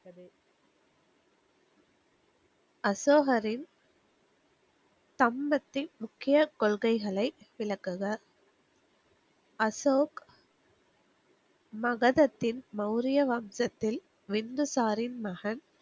அசோகரின் சம்பத்தின் முக்கிய கொள்கைகளை விளக்குக. அசோக், மகதத்தின் மவுரிய வம்சத்தில் வின்துசாரின் மகன்.